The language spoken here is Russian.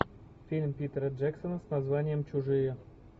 фильм питера джексона с названием чужие